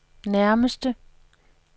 nærmeste